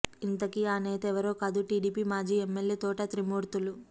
ఇంతకీ ఆ నేత ఎవరో కాదు టీడీపీ మాజీ ఎమ్మెల్యే తోట త్రిమూర్తులు